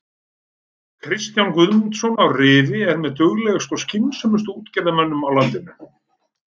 Kristján Guðmundsson í Rifi er með duglegustu og skynsömustu útgerðarmönnum á landinu.